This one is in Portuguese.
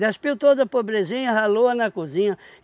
Despiu toda a pobrezinha e ralou-a na cozinha.